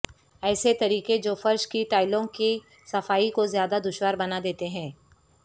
ایسے طریقے جو فرش کی ٹائلوں کی صفائی کو زیادہ دشوار بنا دیتے ہیں